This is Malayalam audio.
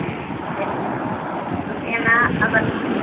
അത okay എന്നാൽ അപർണ